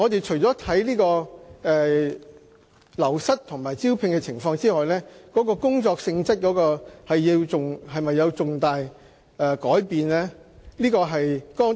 除了審視流失和招聘情況外，我們亦會審視工作性質是否有重大改變。